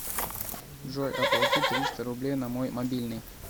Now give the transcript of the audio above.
джой оплати триста рублей на мой мобильный